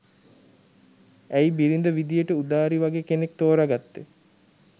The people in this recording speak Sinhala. ඇයි බිරිඳ විදියට උදාරි වගේ කෙනෙක් තෝරගත්තේ?